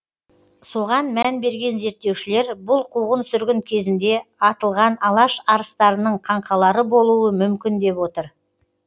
соған мән берген зерттеушілер бұл қуғын сүргін кезінде атылған алаш арыстарының қаңқалары болуы мүмкін деп отыр